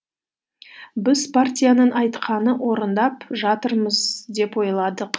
біз партияның айтқанын орындап жатырмыз деп ойладық